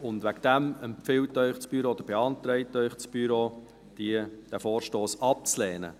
Deswegen empfiehlt oder beantragt Ihnen das Büro, diesen Vorstoss abzulehnen.